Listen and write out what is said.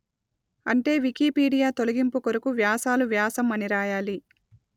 అంటే వికీపీడియా తొలగింపు కొరకు వ్యాసాలు వ్యాసం అని రాయాలి